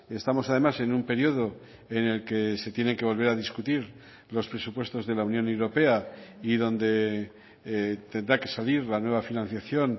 estamos además en un periodo en el que se tiene que volver a discutir los presupuestos de la unión europea y donde tendrá que salir la nueva financiación